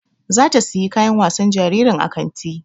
Zata siyi kayan wasa jaririn a kanti